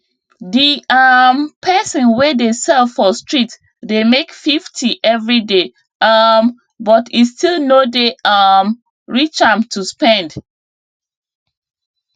di um person wey dey sell for street dey make 50 everyday um but e still no dey um reach am to spend